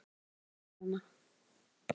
Heimur smádýranna.